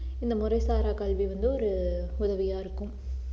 இந்த முறைசாரா கல்வி வந்து ஒரு உதவியா இருக்கும்